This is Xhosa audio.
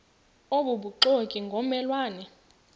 obubuxoki ngomme lwane